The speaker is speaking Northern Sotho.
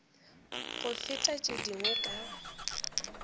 go feta tše dingwe ka